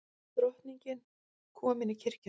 Drottning komin í kirkjuna